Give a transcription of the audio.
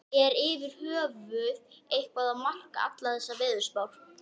Er yfir höfuð eitthvað að marka allar þessar veðurspár?